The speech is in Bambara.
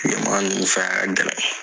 kilema ninnu fɛ a ka gɛlɛn.